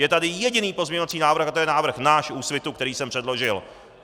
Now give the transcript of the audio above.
Je tady jediný pozměňovací návrh a to je návrh náš, Úsvitu, který jsem předložil.